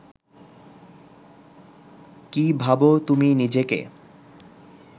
কী ভাবো তুমি নিজেকে